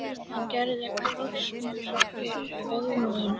Hann gerði krossmark fyrir föður sínum og beið.